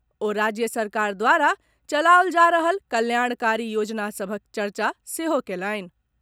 ओ राज्य सरकार द्वारा चलाओल जा रहल कल्याणकारी योजना सभक चर्चा सेहो कयलनि।